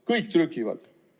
Kõik trükivad.